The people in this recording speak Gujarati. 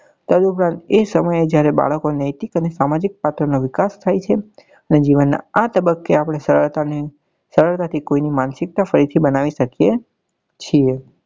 તદુપરાંત એ સમયે બાળકો જયારે નૈતિક અને સામાજિક નો વિકાસ થાય છે ને જીવન નાં આ તબ્બકે આપડે સરળતા ને સરળતા થી કોઈ ની માનસિકતા ફરી થી બનાવી શકીએ છીએ